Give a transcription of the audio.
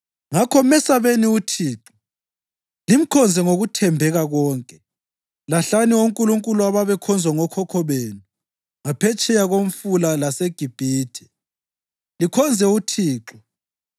Ngakho mesabeni uThixo limkhonze ngokuthembeka konke. Lahlani onkulunkulu ababekhonzwa ngokhokho benu ngaphetsheya koMfula laseGibhithe, likhonze uThixo.